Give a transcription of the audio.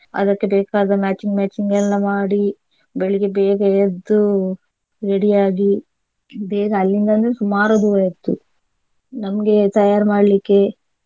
ಅದಕ್ಕೆ ಬೇಕಾದ matching matching ಎಲ್ಲಾ ಮಾಡಿ ಬೆಳಿಗ್ಗೆ ಬೇಗ ಎದ್ದು ready ಆಗಿ ಬೇಗ ಅಲ್ಲಿಂದ ಅಂದ್ರೆ ಸುಮಾರು ದೂರ ಇತ್ತು ನಮ್ಗೆ ತಯಾರು ಮಾಡ್ಲಿಕ್ಕೆ.